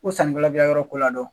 Ko sannikɛla bɛ ka yɔrɔ ko ladɔn